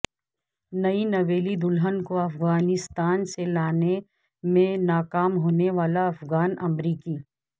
نئی نویلی دلہن کو افغانستان سے لانے میں ناکام ہونے والا افغان امریکی